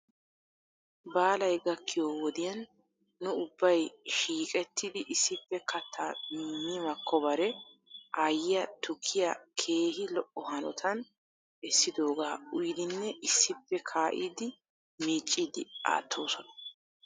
Baalay gakkiyoo wodiya nu ubbay shiiqettidi issippe kataa mi makkobare aayyiyaa tukkiyaa keehi lo'o hanota essidogaa uyiidinne issippe kaa'iidi miicciidi aattoosona.